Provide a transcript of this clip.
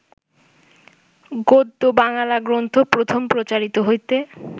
গদ্য বাঙ্গালা গ্রন্থ প্রথম প্রচারিত হইতে